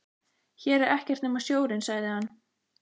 Hér er ekkert nema sjórinn, sagði hann.